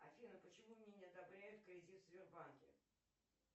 афина почему мне не одобряют кредит в сбербанке